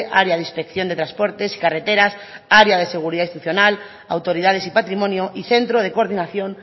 área de inspección de transportes y carreteras área de seguridad institucional autoridades y patrimonio y centro de coordinación